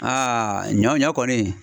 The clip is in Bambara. Aa ɲɔ ɲɔ kɔni